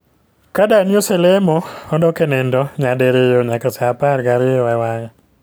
Ka dani oselemo odok e nindo nyadiriyo nyaka saa apar gariyo e wang'e